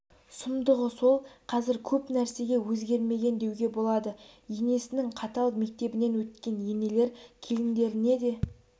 сұмдығы сол қазір көп нәрсеге өзгермеген деуге болады енесінің қатал мектебінен өткен енелер келіндеріне де